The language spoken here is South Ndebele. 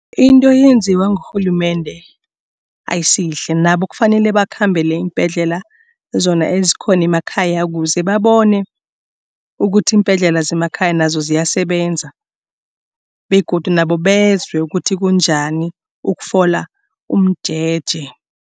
Into eyenziwa ngurhulumende ayisiyihle nabo kufanele bakhambele iimbhedlela zona ezikhona emakhaya kuze babone ukuthi iimbhedlela zemakhaya nazo ziyasebenza begodu nabo bezwe ukuthi kunjani ukufola umjeje.